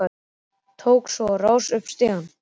Tók svo á rás upp stigann.